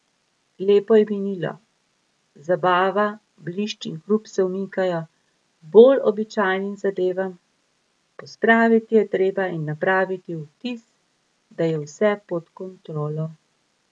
Lepo je minilo, zabava, blišč in hrup se umikajo bolj običajnim zadevam, pospraviti je treba in napraviti vtis, da je vse pod kontrolo.